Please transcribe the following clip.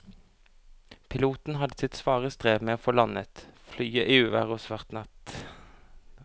Piloten hadde sitt svare strev med å få landet flyet i uvær og svart natt.